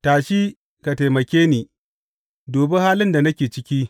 Tashi ka taimake ni; dubi halin da nake ciki!